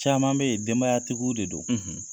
Caman bɛ ye denbayatigiw de don.